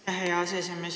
Hea aseesimees!